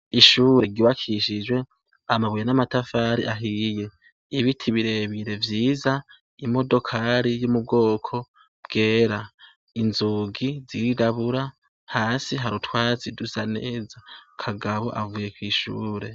Ishure giwakishijwe amabuye n'amatafari ahiye, ibiti birebire vyiza imodokali y'umubwoko bwera, inzugi zigabura hasi harutwazi dusa neza kagabo avuye kw'ishure.